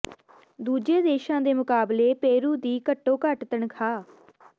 ਦੂਜੇ ਦੇਸ਼ਾਂ ਦੇ ਮੁਕਾਬਲੇ ਪੇਰੂ ਦੀ ਘੱਟੋ ਘੱਟ ਤਨਖ਼ਾਹ